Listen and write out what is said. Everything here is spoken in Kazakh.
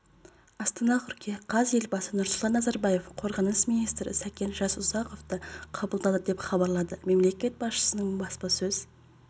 астана қыркүйек қаз елбасы нұрсұлтан назарбаев қорғаныс министрі сәкен жасұзақовты қабылдады деп хабарлады мемлекет басшысының баспасөз